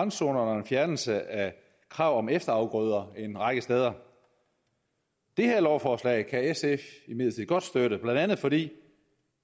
randzonerne og en fjernelse af krav om efterafgrøder en række steder det her lovforslag kan sf imidlertid godt støtte blandt andet fordi det